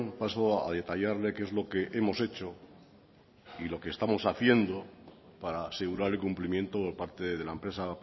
paso a detallarle qué es lo que hemos hecho y lo que estamos haciendo para asegurar el cumplimiento por parte de la empresa